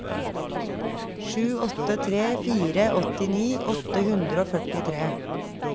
sju åtte tre fire åttini åtte hundre og førtitre